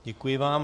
Děkuji vám.